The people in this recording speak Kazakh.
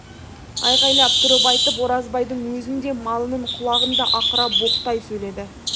айғайлап тұрып айтып оразбайдың өзін де малынын құлағын да ақыра боқтай сөйледі